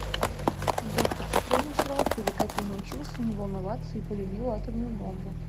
доктор стрейнджлав или как я научился не волноваться и полюбил атомную бомбу